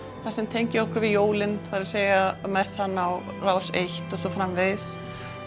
það sem tengir okkur við jólin það er að messan á Rás eins og svo framvegis